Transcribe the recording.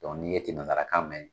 n'i ye jemekalakan mɛn